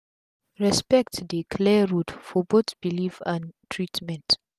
respect dey clear road for both belief and treatment